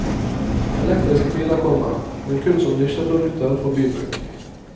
Elektriske biler kommer, men kun som nisjeprodukter for bybruk.